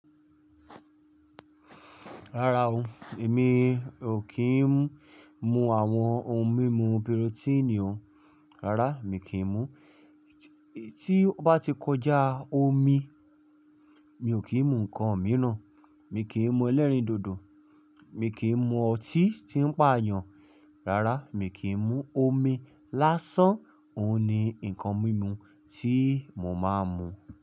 Rárá o, èmi ò kí ń mu àwọn ohun mímu pírótínì o, rárá mi kì í mu. Tí ó bá ti kọjá omi, mi ò kí ń mu ǹkan mìíràn. Mi kì í mu ẹlẹ́rìndòdò, mi kì í mu ọtí tí ń pà yàn, rárá, mi kì í mu. Omi lásán òun ni ǹkan mímu tí mo máa ń mu.